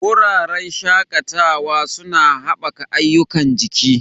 Wuraren shakatawa suna haɓaka ayyukan jiki.